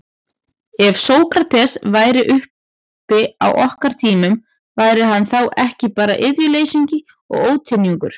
Ef Sókrates væri uppi á okkar tímum, væri hann þá ekki bara iðjuleysingi og ónytjungur?